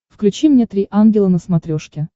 включи мне три ангела на смотрешке